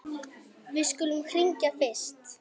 Við skulum hringja fyrst.